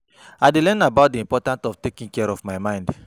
I dey learn about di important of taking care of my mind.